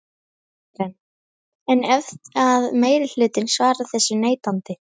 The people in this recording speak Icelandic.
Karen: En ef að meirihlutinn svarar þessu neitandi?